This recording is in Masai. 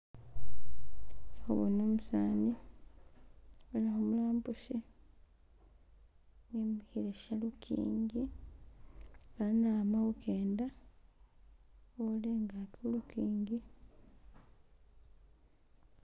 Ndi khubona umusani abonekha umulambushi emikhile shalukingi fana ama khukenda kha'ola ingaki khu lukingi